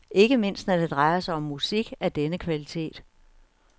Ikke mindst når det drejer sig om musik af denne kvalitet.